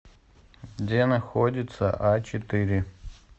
где находится ачетыре